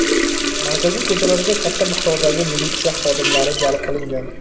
Markaziy ko‘chalarga katta miqdordagi militsiya xodimlari jalb qilingan.